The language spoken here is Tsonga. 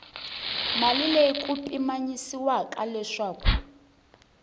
mali leyi ku pimanyisiwaka leswaku